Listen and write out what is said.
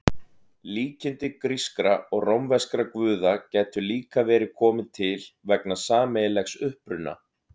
Líkindi grískra og rómverskra guða gætu líka verið komin til vegna sameiginlegs uppruna.